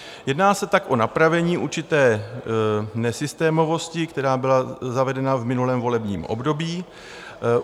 Jedná se tak o napravení určité nesystémovosti, která byla zavedena v minulém volebním období.